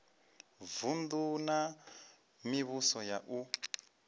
vunu na mivhuso yapo u